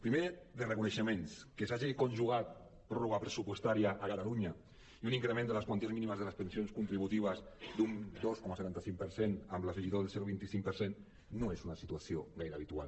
primer de reco·neixements que s’hagi conjugat pròrroga pressupostària a catalunya i un increment de les quanties mínimes de les pensions contributives d’un dos coma setanta cinc per cent amb l’afe·gitó del zero coma vint cinc per cent no és una situació gaire habitual